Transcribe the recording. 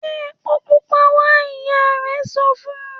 ‘Gbé epo pupa wa!’, ìyá rè̩ so fun